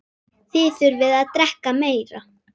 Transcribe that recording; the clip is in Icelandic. Þið þurfið að drekka meira.